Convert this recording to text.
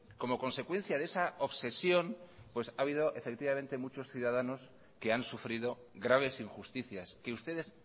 ha habido muchos ciudadanos que han sufrido graves injusticias que ustedes